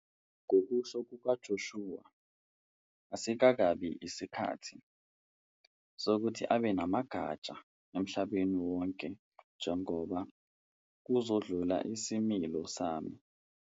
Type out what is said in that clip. Ngokusho kukaJoshua, "asikakabi yisikhathi" sokuthi abe namagatsha emhlabeni wonke njengoba "kuzodlula isimilo sami.